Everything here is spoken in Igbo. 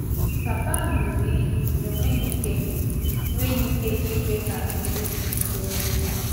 Pápa m ṅụrụ iyi na ọ nweghị ike nweghị ike ikwè ka Bérìsì soro m.